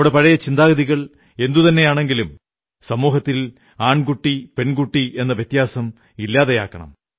നമ്മുടെ പഴയ ചിന്താഗതികൾ എന്തുതന്നെയാണെങ്കിലും സമൂഹത്തിൽ ആൺകുട്ടിപെൺകുട്ടി എന്ന വ്യത്യാസം ഇല്ലാതെയാകണം